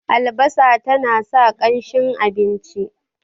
albasa tana sa kanshin abinci